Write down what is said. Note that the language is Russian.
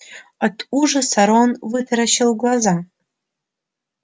от ужаса рон вытаращил глаза